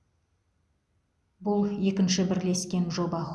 бұл екінші бірлескен жоба